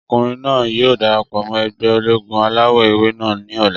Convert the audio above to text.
Ọkùnrin náà yóò darapọ̀ mọ́ ẹgbẹ́ ológun alawọ̀-ewé náà ní ọ̀la